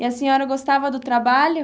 E a senhora gostava do trabalho?